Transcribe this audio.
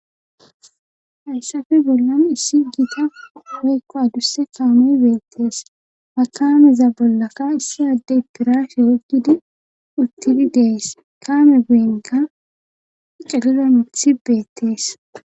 Hayssappe bollan issi giita woykko adusse kaamey beettees. Ha kaameza bollakka issa adde pirashe oyikkidi utti dees. Kaame beenika cililo mithi beettees.